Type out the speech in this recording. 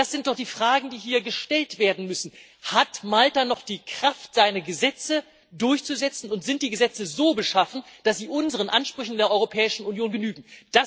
Das sind doch die Fragen, die hier gestellt werden müssen. Hat Malta noch die Kraft, seine Gesetze durchzusetzen, und sind die Gesetze so beschaffen, dass sie unseren Ansprüchen in der Europäischen Union genügen?